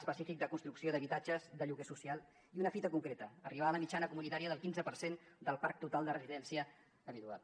f fic de construcció d’habitatges de lloguer social i una fita concreta arribar a la mitjana comunitària del quinze per cent del parc total de residència habitual